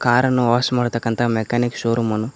ಕಾರನ್ನು ವಾಶ್ ಮಾಡತಕ್ಕಂಥ ಮೆಕಾನಿಕ್ ಶೋರೂಮನ್ನು--